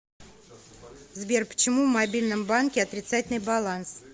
сбер почему в мобильном банке отрицательный баланс